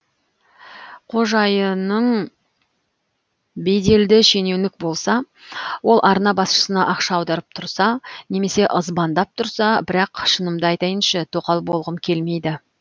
қожайының беделді шенеунік болса ол арна басшысына ақша аударып тұрса немесе ызбандап тұрса бірақ шынымды айтайыншы тоқал болғым келмейді